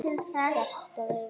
Hjartað er byrjað að slá.